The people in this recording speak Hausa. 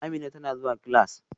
Amina tana zuwa class